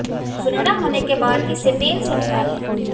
सुनहरा होने के बाद इसे तेल से निकाल लें